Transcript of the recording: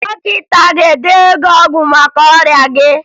Dọkịta a ga-edenye gị ọgwụ maka ọrịa gị?